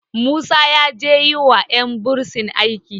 musa ya je yi wa yan bursin aski